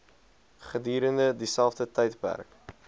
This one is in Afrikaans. gedurende dieselfde tydperk